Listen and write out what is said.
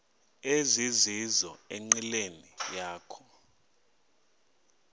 ezizizo enqileni yakho